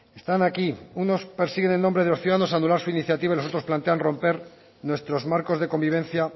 están aquí unos persiguen en nombre de los ciudadanos a anular su iniciativa y los otros plantean romper nuestros marcos de convivencia